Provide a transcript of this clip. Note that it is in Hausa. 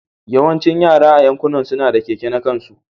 Yawancin yara a yankin suna, da keke na kansu.